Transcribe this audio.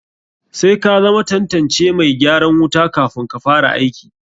Sai ka zama tantancen mai gyaran wuta kafun ka fara aiki.